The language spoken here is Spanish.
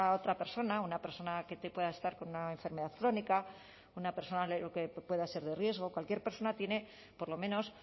otra persona una persona que pueda estar con una enfermedad crónica o una persona que pueda ser de riesgo cualquier persona tiene por lo menos